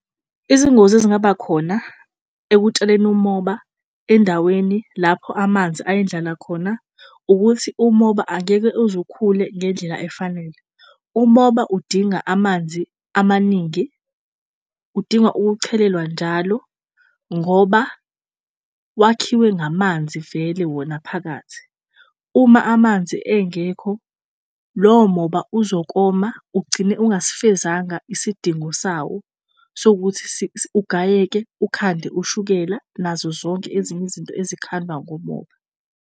Izingozi ezingaba khona ekutshaleni umoba endaweni lapho amanzi ayindlala khona ukuthi umoba angeke uze ukhule ngendlela efanele. Umoba udinga amanzi amaningi, udinga ukuchelelwa njalo ngoba wakhiwe ngamanzi vele wona phakathi. Uma amanzi engekho lowo moba uzokoma ugcine ungasifezanga isidingo sawo sokuthi ugayeke ukhande ushukela nazo zonke ezinye izinto ezikhandwa ngomoba.